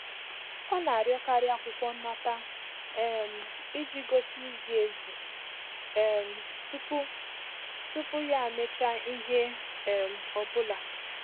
Ọ na-arịọkarị akwụkwọ nnata um iji gosi izi ezi um tupu tupu ya emecha ihe um ọ bụla.